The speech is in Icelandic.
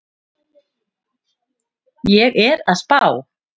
Ég er að spá.